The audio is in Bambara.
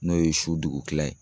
N'o ye su dugukila ye